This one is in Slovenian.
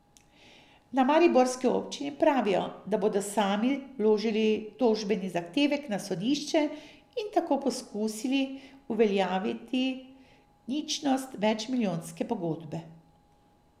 Na mariborski občini pravijo, da bodo sami vložili tožbeni zahtevek na sodišče in tako poskusili uveljaviti ničnost več milijonske pogodbe.